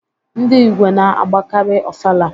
Ndị Igwe na-agbakari Ọfala.